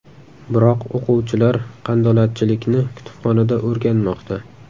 Biroq o‘quvchilar qandolatchilikni kutubxonada o‘rganmoqda.